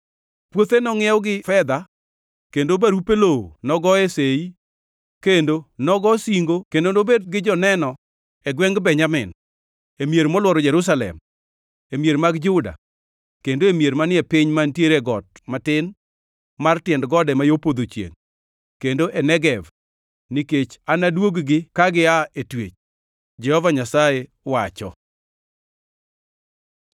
Puothe nongʼiew gi fedha, kendo barupe lowo nogoye sei kendo nogosingo kendo nobedgi joneno e gwengʼ Benjamin, e mier molworo Jerusalem, e mier mag Juda kendo e mier manie piny mantiere got matin, mar tiend gode ma yo podho chiengʼ kendo e Negev, nikech anadwog-gi ka gia e twech, Jehova Nyasaye wacho.”